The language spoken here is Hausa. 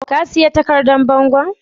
Ka sayi takardan bangon?